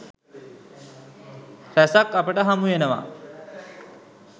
රැසක් අපට හමුවෙනවා.